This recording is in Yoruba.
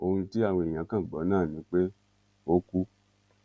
ohun tí àwọn èèyàn kan gbọ náà ni pé ó kú